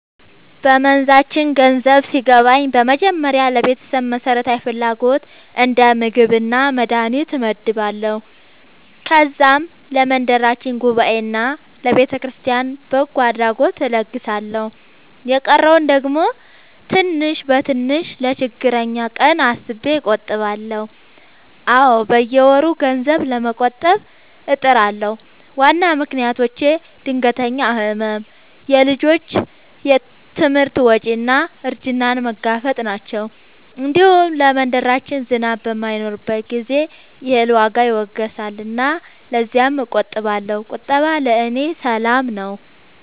በመንዛችን ገንዘብ ሲገባኝ በመጀመሪያ ለቤተሰብ መሠረታዊ ፍላጎት እንደ ምግብና መድሀኒት እመድባለሁ። ከዛም ለመንደራችን ጉባኤና ለቤተክርስቲያን በጎ አድራጎት እለግሳለሁ። የቀረውን ደግሞ ትንሽ በትንሽ ለችግረኛ ቀን አስቤ እቆጥባለሁ። አዎ፣ በየወሩ ገንዘብ ለመቆጠብ እጥራለሁ። ዋና ምክንያቶቼ ድንገተኛ ሕመም፣ የልጆች ትምህርት ወጪ እና እርጅናን መጋፈጥ ናቸው። እንዲሁም ለመንደራችን ዝናብ በማይኖርበት ጊዜ የእህል ዋጋ ይወገሳልና ለዚያም እቆጥባለሁ። ቁጠባ ለእኔ ሰላም ነው።